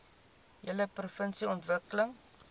hele provinsie ontwikkel